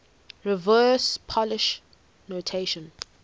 reverse polish notation